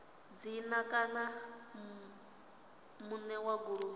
dzina kana muṋe wa goloi